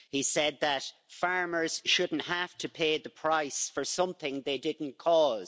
He said that farmers shouldn't have to pay the price for something they didn't cause.